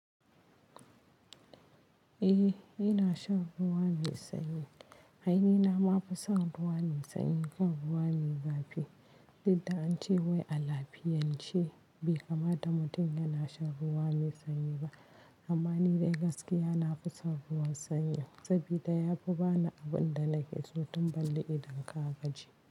Eh ina shan ruwa mai sanyi. Ainihi na ma fi son ruwa mai sanyi kan ruwa mai zafi. Dida an ce wai alafiyan ce bai kamata mutum yana shan ruwa mai sanyi ba. Amma ni dai gaskiya na fi son ruwan sanyi sabida yafi bani abin da nake so tun balle idan ka gaji.